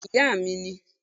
Béèni ìyá mi ni